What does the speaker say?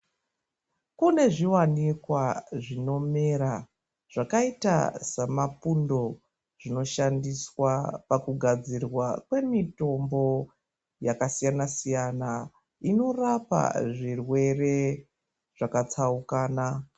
Kunezviwanikwa zvinomera, zvakayita samapundo, zvinoshandiswa pakugadzirwa kwemitombo yakasiyana siyana. Inorapa zvirwere zvakatsawukana.